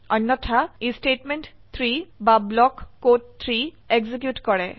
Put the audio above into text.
অন্যথা ই স্টেটমেন্ট 3 বা ব্লক কোড 3 এক্সিকিউট কৰে